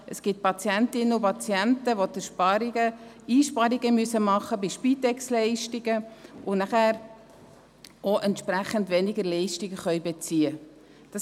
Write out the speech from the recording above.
Es gibt Patienten und Patientinnen, die Einsparungen bei Spitex-Leistungen machen müssen und entsprechend weniger Leistungen beziehen können.